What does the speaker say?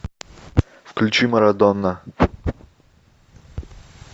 включи марадона